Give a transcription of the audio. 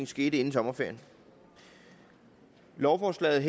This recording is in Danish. skete inden sommerferien lovforslaget